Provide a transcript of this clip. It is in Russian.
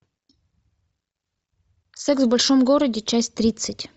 секс в большом городе часть тридцать